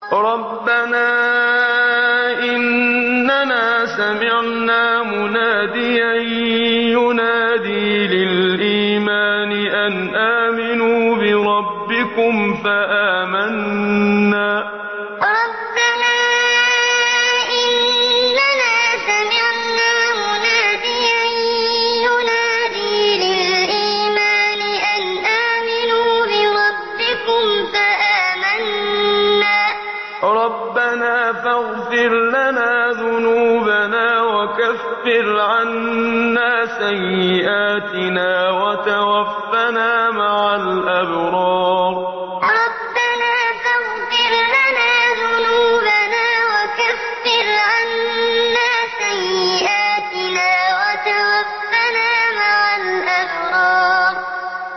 رَّبَّنَا إِنَّنَا سَمِعْنَا مُنَادِيًا يُنَادِي لِلْإِيمَانِ أَنْ آمِنُوا بِرَبِّكُمْ فَآمَنَّا ۚ رَبَّنَا فَاغْفِرْ لَنَا ذُنُوبَنَا وَكَفِّرْ عَنَّا سَيِّئَاتِنَا وَتَوَفَّنَا مَعَ الْأَبْرَارِ رَّبَّنَا إِنَّنَا سَمِعْنَا مُنَادِيًا يُنَادِي لِلْإِيمَانِ أَنْ آمِنُوا بِرَبِّكُمْ فَآمَنَّا ۚ رَبَّنَا فَاغْفِرْ لَنَا ذُنُوبَنَا وَكَفِّرْ عَنَّا سَيِّئَاتِنَا وَتَوَفَّنَا مَعَ الْأَبْرَارِ